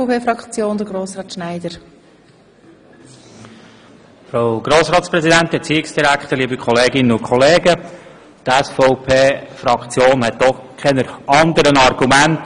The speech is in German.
Die SVPFraktion hat keine anderen Argumente als die Vorredner oder die Regierung.